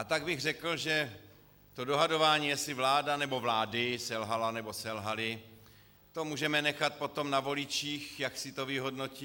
A tak bych řekl, že to dohadování, jestli vláda, nebo vlády, selhala, nebo selhaly, to můžeme nechat potom na voličích, jak si to vyhodnotí.